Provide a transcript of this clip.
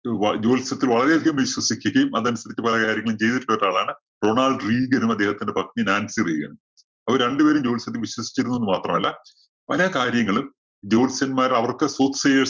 ജ്യോത്സ്യത്തില്‍ വളരെയധികം വിശ്വസിക്കുകയും, അതനുസരിച്ച് പല കാര്യങ്ങളും ചെയ്തിട്ടുള്ള ഒരാളാണ് റൊണാള്‍ഡ്‌ റീഗനും, അദ്ദേഹത്തിന്റെ പത്നി നാന്‍സി റീഗനും. അവര് രണ്ടുപേരും ജ്യോത്സ്യത്തില്‍ വിശ്വസിച്ചിരുന്നു എന്ന് മാത്രമല്ല, പല കാര്യങ്ങളും ജ്യോത്സ്യന്മാര്‍ അവര്‍ക്ക്